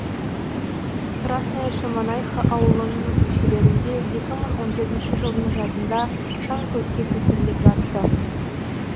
красная шемонайха ауылының көшелерінде екі мың он жетінші жылдың жазында шаң көкке көтеріліп жатыпты